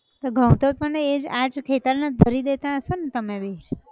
તો ઘઉં તો પણ એજ આજ ખેતર ના જ ભરી દેતા હશો ન તમે બી